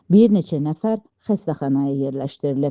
Bir neçə nəfər xəstəxanaya yerləşdirilib.